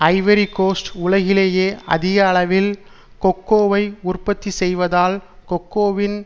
Ivory Coast உலகிலேயே அதிக அளவில் கொக்கோவை உற்பத்தி செய்வதால் கொக்கோவின்